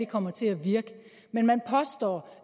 kommer til at virke men man påstår